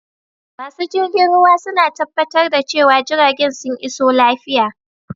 Masu jirgin ruwa suna tabbatar da cewa jiragen sun iso lafiya.